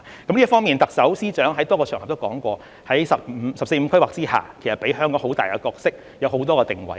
在這方面，特首、司長在多個場合都說過，"十四五"規劃給予香港很大的角色，有很多個定位。